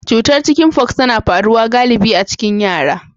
Cutar Chicken fox tana faruwa galibi a cikin yara.